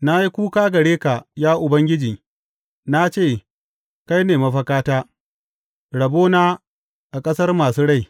Na yi kuka gare ka, ya Ubangiji; Na ce, Kai ne mafakata, rabona a ƙasar masu rai.